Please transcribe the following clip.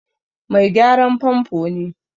Mai gyaran famfo ne.